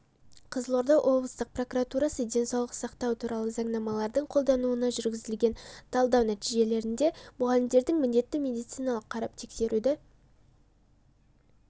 қызылорда облыстық прокуратурасы денсаулық сақтау туралы заңнамалардың қолданылуына жүргізілген талдау нәтижесінде мұғалімдердің міндетті медициналық қарап тексеруді